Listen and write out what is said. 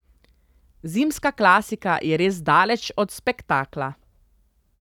Zimska klasika je res daleč od spektakla.